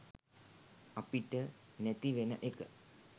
අපිට නැති වෙන එක.